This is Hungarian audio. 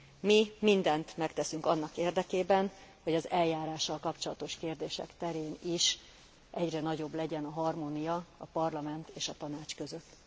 Mi mindent megteszünk annak érdekében, hogy az eljárással kapcsolatos kérdések terén is egyre nagyobb legyen a harmónia a Parlament és a Tanács között.